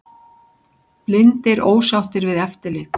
Blindir ósáttir við eftirlit